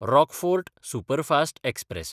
Rockfort superfast express